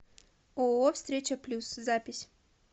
ооо встреча плюс запись